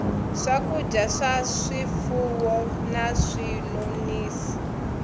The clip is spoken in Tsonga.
swakudya swa swifuwo na swinonisi